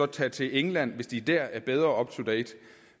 tage til england hvis de der er bedre up to date